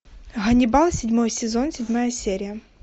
ганнибал седьмой сезон седьмая серия